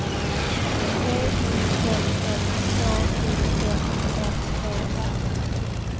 T I L L K O M M E R